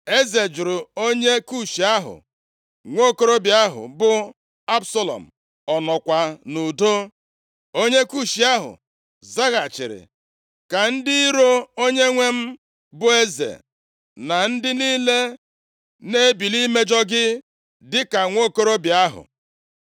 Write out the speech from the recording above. Eze jụrụ onye Kush ahụ, “Nwokorobịa ahụ bụ Absalọm, ọ nọkwa nʼudo?” Onye Kush ahụ zaghachiri, “Ka ndị iro onyenwe m bụ eze na ndị niile na-ebili imejọ gị dị ka nwokorobịa ahụ!”